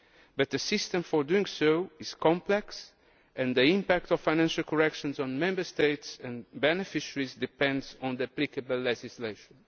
But the system for doing so is complex, and the impact of financial corrections on Member States and beneficiaries depends on the applicable legislation.